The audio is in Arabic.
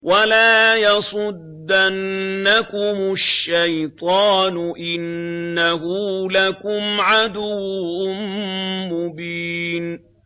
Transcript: وَلَا يَصُدَّنَّكُمُ الشَّيْطَانُ ۖ إِنَّهُ لَكُمْ عَدُوٌّ مُّبِينٌ